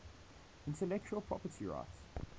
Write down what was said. intellectual property rights